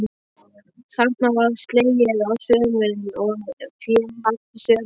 Þarna var slegið á sumrin og fé haft í sumarhögum.